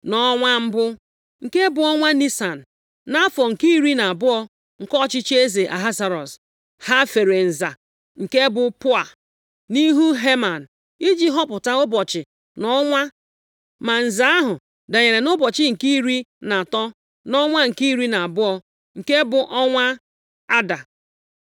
Nʼọnwa mbụ, nke bụ ọnwa Nisan, nʼafọ nke iri na abụọ nke ọchịchị eze Ahasuerọs. Ha fere nza (nke bụ Pua) nʼihu Heman iji họpụta ụbọchị na ọnwa. Ma nza ahụ danyere nʼụbọchị nke iri na atọ nʼọnwa nke iri na abụọ, nke bụ ọnwa Aada.